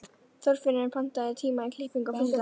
Þorfinnur, pantaðu tíma í klippingu á föstudaginn.